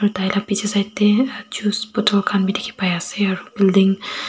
taila bichi side dae juice bottle khanbi diki pai asae aro building .